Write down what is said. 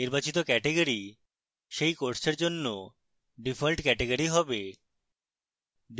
নির্বাচিত category সেই কোর্সের জন্য ডিফল্ট category হবে